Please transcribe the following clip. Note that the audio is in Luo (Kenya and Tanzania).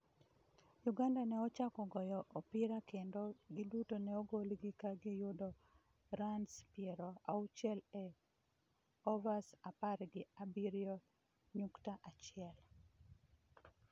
Uganda ne ochako goyo opira kendo giduto neogolgi ka giyudo runs piero auchiel e overs apar gi abiriyo nyukta achiel.